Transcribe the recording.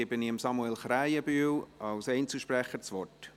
Dann gebe ich Samuel Krähenbühl als Einzelsprecher das Wort.